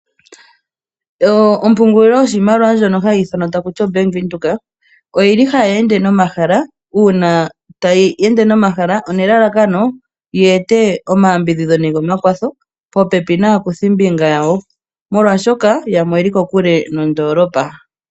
Opungulilo yoshimaliwa ndjono hayi ithanwa takuti oBank Windhoek oyili hayi ende nomahala uuna one lalakano yi ete omayambidhidho nenge omakwatho popepi naakuthimbinga yawo molwashoka yamwe oyeli kokule nondoolopa.